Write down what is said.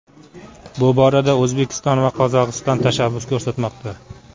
Bu borada O‘zbekiston va Qozog‘iston tashabbus ko‘rsatmoqda.